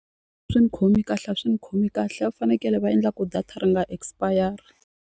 Swi ni khomi kahle a swi ni khomi kahle a va fanekele va endla ku data ri nga expire.